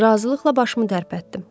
Razılıqla başımı tərpətdim.